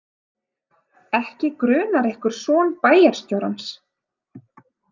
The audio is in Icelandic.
Ekki grunar ykkur son bæjarstjórans?